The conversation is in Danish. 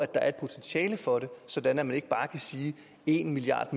der er et potentiale for det sådan at man ikke bare kan sige en milliard